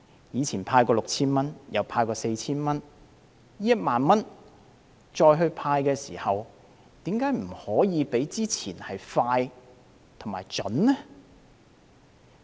以往曾派發 6,000 元及 4,000 元，這次派發1萬元的時候，為何不可以較之前快捷及準確呢？